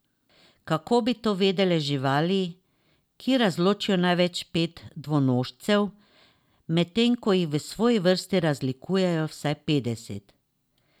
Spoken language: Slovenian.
Kako bi to vedele živali, ki razločijo največ pet dvonožcev, medtem ko jih v svoji vrsti razlikujejo vsaj petdeset.